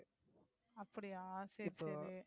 அப்படியா, சரி, சரி.